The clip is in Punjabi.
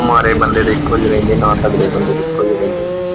ਮਾੜੇ ਬੰਦੇ ਇੱਕੋ ਜਹੇ ਰਹਿੰਦੇ ਨਾ ਤਗੜੇ ਬੰਦੇ ਦੇ ਇੱਕੋ ਜਹੇ ਰਹਿੰਦੇ।